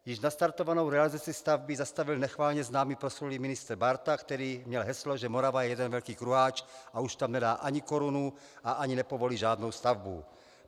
Již nastartovanou realizaci stavby zastavil nechvalně známý, proslulý ministr Bárta, který měl heslo, že Morava je jeden velký kruháč a už tam nedá ani korunu a ani nepovolí žádnou stavbu.